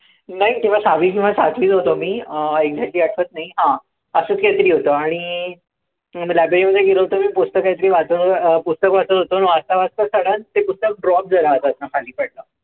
नाही, तेंव्हा सहावी किंवा सातवीत होतो मी. अं exactly आठवत नाही. हां असंच काहीतरी होतं. आणि अं library मध्ये गेलो होतो. पुस्तक काहीतरी वाचत होतो मी. आणि वाचता वाचताच ते पुस्तक drop झालं होतं हातातनं खाली पडलं होतं.